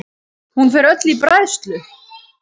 Hún fer öll í bræðslu.